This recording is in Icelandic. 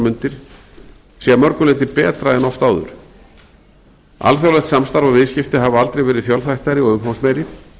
mundir sé að mörgu leyti betra en oft áður alþjóðlegt samstarf og viðskipti hafa aldrei verið fjölþættari og umfangsmeiri